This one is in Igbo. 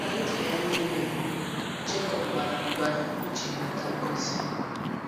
Ná ndụ ya nile, Jekọb gbara mgba iji nweta ngọzi